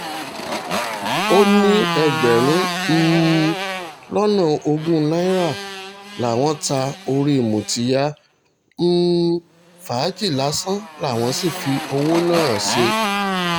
ó ní ẹgbẹ̀rún um lọ́nà ogún náírà làwọn ta orí mutiyar um fàájì lásán làwọn sì fi owó náà ṣe